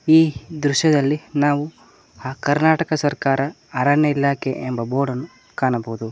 ಈ ದೃಶ್ಯದಲ್ಲಿ ನಾವು ಆ ಕರ್ನಾಟಕ ಸರ್ಕಾರ ಅರಣ್ಯ ಇಲಾಖೆ ಎಂಬ ಬೋರ್ಡನ್ನು ಕಾಣಬೋದು.